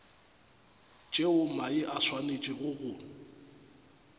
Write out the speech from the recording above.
tšeo mae a swanetšego go